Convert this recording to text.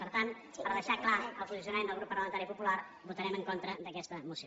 per tant per deixar clar el posicionament del grup parlamentari popular votarem en contra d’aquesta moció